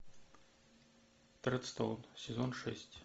тредстоун сезон шесть